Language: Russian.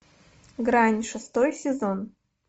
грань шестой сезон